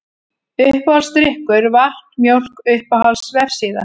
Uppáhaldsdrykkur: Vatn, Mjólk Uppáhalds vefsíða?